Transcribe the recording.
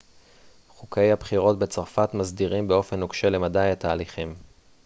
חוקי הבחירות בצרפת מסדירים באופן נוקשה למדי את ההליכים